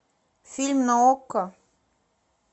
фильм на окко